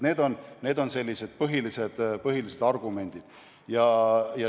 Need on põhilised argumendid.